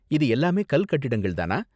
இது எல்லாமே கல் கட்டிடங்கள் தானா?